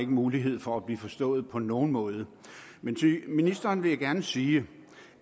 mulighed for at blive forstået på nogen måde men til ministeren vil jeg gerne sige